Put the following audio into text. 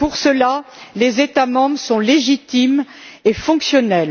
Pour cela, les États membres sont légitimes et fonctionnels.